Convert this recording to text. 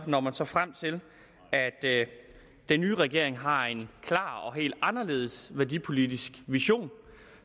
når man så frem til at den nye regering har en klar og helt anderledes værdipolitisk vision